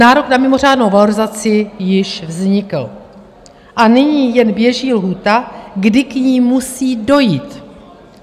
Nárok na mimořádnou valorizaci již vznikl a nyní jen běží lhůta, kdy k ní musí dojít.